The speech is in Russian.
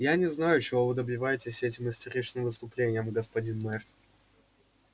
я не знаю чего вы добиваетесь этим истеричным выступлением господин мэр